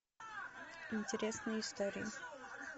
интересные истории